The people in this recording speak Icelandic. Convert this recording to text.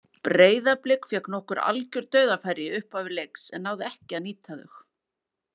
Breiðablik fékk nokkur algjör dauðafæri í upphafi leiks en náði ekki að nýta þau.